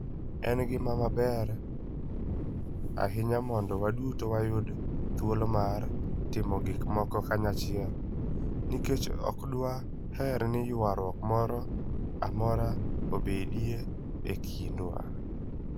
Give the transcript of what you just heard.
En gima ber ahinya mondo waduto wayud thuolo mar timo gik moko kanyachiel, nikech ok dwaher ni ywaruok moro amora obedie e kindwa.